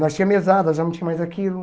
Nós tinha mesada, já não tinha mais aquilo.